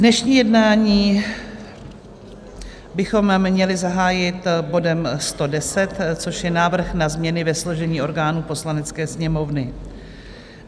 Dnešní jednání bychom měli zahájit bodem 110, což je návrh na změny ve složení orgánů Poslanecké sněmovny.